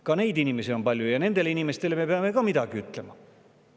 Ka neid inimesi on palju ja nendele inimestele me peame ka midagi ütlema.